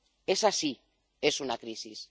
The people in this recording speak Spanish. Esa sí es una crisis.